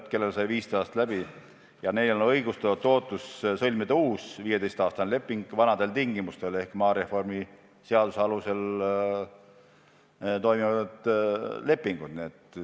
Kui kellelgi sai 15 aastat läbi, siis neil on õigustatud ootus sõlmida uus 15-aastane leping vanadel tingimustel ehk maareformi seaduse alusel.